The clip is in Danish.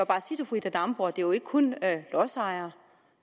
bare sige til fru ida damborg at det jo ikke kun er lodsejere